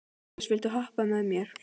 Jens, viltu hoppa með mér?